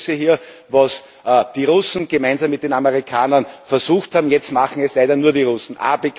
Ich begrüße hier, was die Russen gemeinsam mit den Amerikanern versucht haben, jetzt machen es leider nur die Russen.